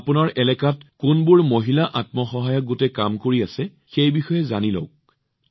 আপোনালোকৰ এলেকাত কোনবোৰ মহিলাৰ আত্মসহায়ক গোটে কাম কৰি আছে জানি লওঁক